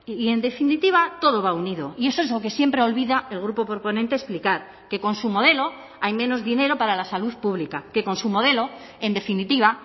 y en definitiva todo va unido y eso es lo que siempre olvida el grupo proponente explicar que con su modelo hay menos dinero para la salud pública que con su modelo en definitiva